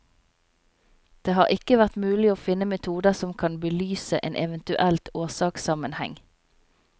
Det har ikke vært mulig å finne metoder som kan belyse en eventuell årsakssammenheng.